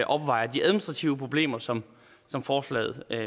opvejer de administrative problemer som som forslaget